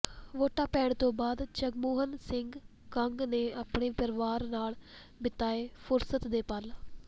ਵੋਟਾਂ ਪੈਣ ਤੋਂ ਬਾਅਦ ਜਗਮੋਹਨ ਸਿੰਘ ਕੰਗ ਨੇ ਆਪਣੇ ਪਰਿਵਾਰ ਨਾਲ ਬਿਤਾਏ ਫੁਰਸਤ ਦੇ ਪਲ